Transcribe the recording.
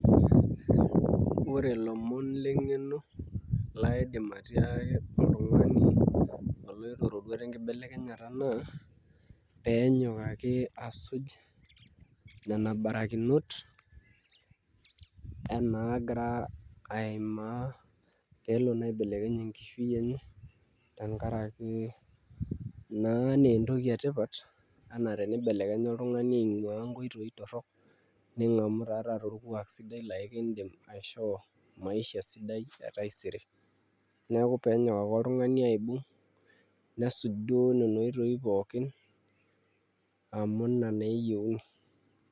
Ore ilomon leng'eno laidim atoliki oltung'ani oloito iroruat enkibelekenyata naa pee enyok ake asuj nena barakiot nena naagira aimaa pee elo naa aibelekeny enkishui enye tenkaraki naa ee entoki etipat enaa tenibelekenya oltung'ani aing'uaa nkoitoi torrok ning'amu taa taata orkuak sidai laa kiidim aishoo maisha sidai e taisere, neeku pee enyok ake oltung'ani aibung' nesuj duo nena oitoi pookin amu ina naa eyieuni.